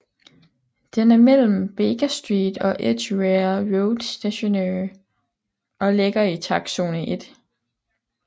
Den er mellem Baker Street og Edgware Road Stationer og ligger i takstzone 1